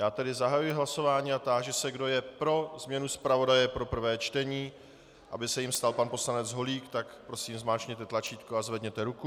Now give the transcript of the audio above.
Já tedy zahajuji hlasování a táži se, kdo je pro změnu zpravodaje pro prvé čtení, aby se jím stal pan poslanec Holík, tak prosím zmáčkněte tlačítko a zvedněte ruku.